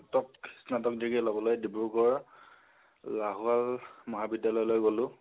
স্নতক, স্নতক degree লবলৈ ডিব্ৰুগড় লাহোৱাল মহাবিদ্যালয় লৈ গলোঁ